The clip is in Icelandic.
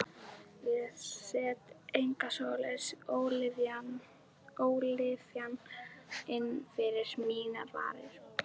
Ég set enga svoleiðis ólyfjan inn fyrir mínar varir.